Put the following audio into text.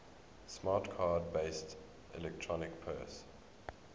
smart card based electronic purse